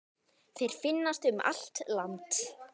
Þeir finnast um allt land.